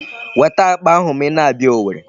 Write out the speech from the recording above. Weta akpa ahụ ma ị na-abịa Owerri.